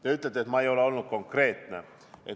Te ütlete, et ma ei ole olnud konkreetne.